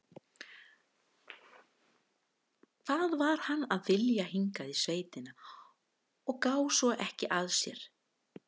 Hvað var hann að vilja hingað í sveitina og gá svo ekki að sér?